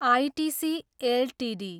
ITC Ltd